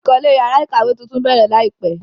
Ìkọ́lé yàrá ìkàwé tuntun bẹ̀rẹ̀ láìpẹ́.